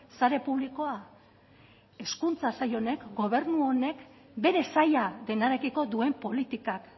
sare publikoa hezkuntza sail honek gobernu honek bere saila denarekiko duen politikak